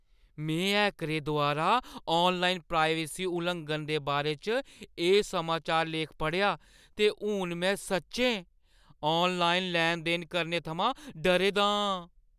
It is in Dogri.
में हैकरें द्वारा ऑनलाइन प्राइवेसी उलंघन दे बारे च एह् समाचार लेख पढ़ेआ ते हून में सच्चैं ऑनलाइन लैन-देन करने थमां डरे दा आं।